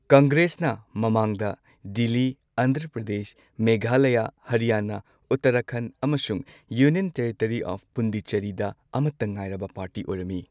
ꯀꯪꯒ꯭ꯔꯦꯁꯅ ꯃꯃꯥꯡꯗ ꯗꯤꯜꯂꯤ, ꯑꯟꯙ꯭ꯔ ꯄ꯭ꯔꯗꯦꯁ, ꯃꯦꯘꯂꯌꯥ, ꯍꯔꯤꯌꯥꯅꯥ, ꯎꯠꯇꯔꯈꯟꯗ, ꯑꯃꯁꯨꯡ ꯌꯨꯅꯤꯌꯟ ꯇꯦꯔꯤꯇꯣꯔꯤ ꯑꯣꯐ ꯄꯨꯟꯗꯤꯆꯦꯔꯤꯗ ꯑꯃꯠꯇ ꯉꯥꯏꯔꯕ ꯄꯥꯔꯇꯤ ꯑꯣꯏꯔꯝꯃꯤ꯫